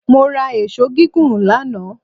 Mo ra èṣó gígùn lánàá